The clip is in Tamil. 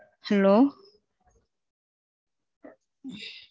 புரியுது மாம் உங்க Issue புரியுது